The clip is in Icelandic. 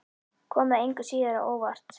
Kom það engu að síður á óvart?